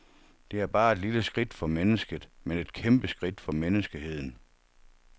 Det er bare et lille skridt for mennesket, men et kæmpeskridt for menneskeheden.